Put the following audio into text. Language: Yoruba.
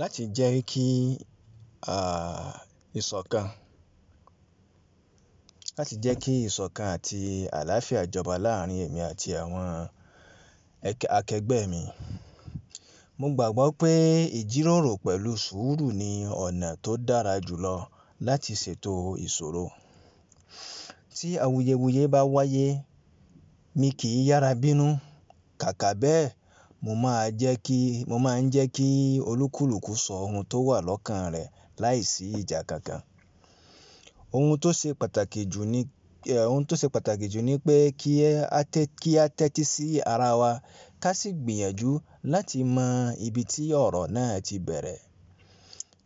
Láti jẹ́ kí ìṣọ̀kan àti àláfíà ìjọba láàrin èmi àti àwọn akẹgbẹ́ mi, mo gbàgbọ́ pé ìjíròrò pẹ̀lu sùúrù ni ọ̀nà tó dára jùlọ láti ṣètò ìṣòro. Tí awuyewuye bá wáyé, mo kì í yára bínú, kàkà bẹ́ẹ̀ mo ma je ki mo máa ń jẹ́ kí olúkúlùkù sọ ohun tó wà lọ́kàn rẹ̀ láìsí ìjà kankan. Ohun tó ṣe pàtàkì jù ni pé ki a te kí a tẹ́tí sí ara wa ká sì gbìyànjú láti mọ ibi tí ọ̀rọ̀ náà tí bẹ̀rẹ̀.